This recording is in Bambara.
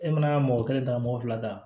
E mana mɔgɔ kelen ta mɔgɔ fila ta